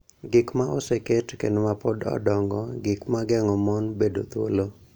gik ma oseket kendo ma pod odongo, gik ma geng�o mon bedo thuolo,